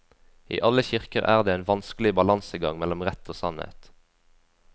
I alle kirker er det en vanskelig balansegang mellom rett og sannhet.